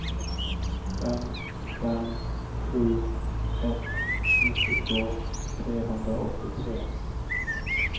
fem fem sju ett nittiotvå trehundraåttiotre